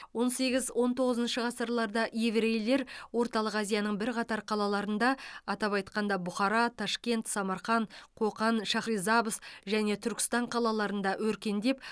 он сегіз он тоғызыншы ғасырларда еврейлер орталық азияның бірқатар қалаларында атап айтқанда бұхара ташкент самарқан қоқан шахрисабз және түркістан қалаларында өркендеп